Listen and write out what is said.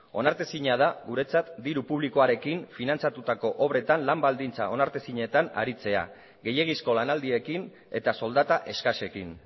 onartezina da guretzat diru publikoarekin finantzatutako obretan lan baldintza onartezinetan aritzea gehiegizko lanaldiekin eta soldata eskasekin